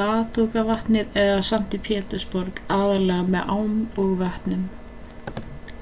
ladogavatn eða sankti pétursborg aðallega með ám og vötnum